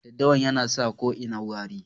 Daddawa yana sa ko ina wari.